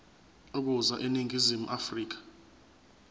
ukuza eningizimu afrika